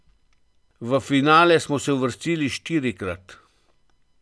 V finale pa smo se uvrstili štirikrat.